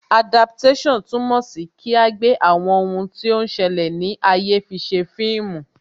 Adaptation túmọ̀ sí kí agbe àwọn ohun tí ó ń ṣẹlẹ̀ ní ayé fise fíìmù